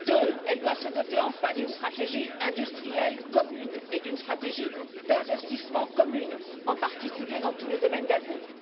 Deuxièmement, elle doit se doter, enfin, d'une stratégie industrielle commune et d'une stratégie d'investissement commune, en particulier dans tous les domaines d'avenir.